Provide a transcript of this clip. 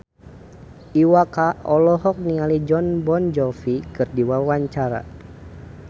Iwa K olohok ningali Jon Bon Jovi keur diwawancara